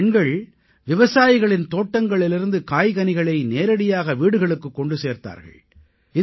இந்தப் பெண்கள் விவசாயிகளின் தோட்டங்களிலிருந்து காய்கனிகளை நேரடியாக வீடுகளுக்குக் கொண்டு சேர்த்தார்கள்